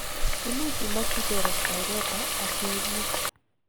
imuch imokyigei respirator asibuss